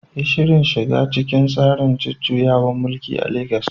Yi Shirin shiga cikin tsarin jujjuyawar neman mulki a legas